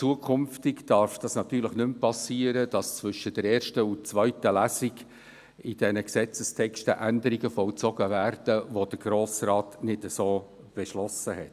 Künftig darf es natürlich nicht mehr vorkommen, dass zwischen der ersten und der zweiten Lesung an den Gesetzestexten Änderungen vollzogen werden, welche der Grosse Rat nicht so beschlossen hat.